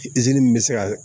min bɛ se ka